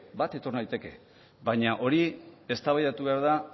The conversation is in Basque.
bat etor naiteke baina hori eztabaidatu behar da